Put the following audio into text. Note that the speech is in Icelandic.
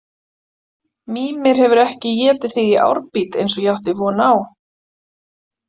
Mímir hefur ekki étið þig í árbít eins og ég átti von á